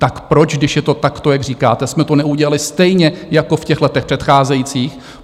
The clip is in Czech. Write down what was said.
Tak proč, když je to takto, jak říkáte, jsme to neudělali stejně jako v těch letech předcházejících?